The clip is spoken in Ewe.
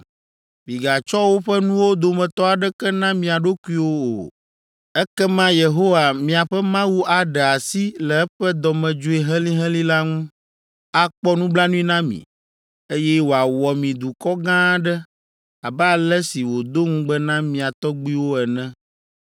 Migatsɔ woƒe nuwo dometɔ aɖeke na mia ɖokuiwo o! Ekema Yehowa miaƒe Mawu aɖe asi le eƒe dɔmedzoe helĩhelĩ la ŋu, akpɔ nublanui na mi, eye wòawɔ mi dukɔ gã aɖe abe ale si wòdo ŋugbe na mia tɔgbuiwo ene.